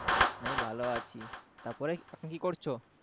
বেশ ভালো আছি তারপরে কি করছো?